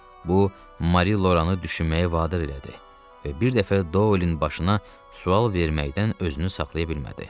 Bu Mari Loranı düşünməyə vadar elədi və bir dəfə Dolin başına sual verməkdən özünü saxlaya bilmədi.